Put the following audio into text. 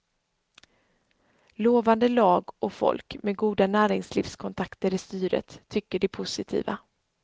Lovande lag och folk med goda näringslivskontakter i styret, tycker de positiva.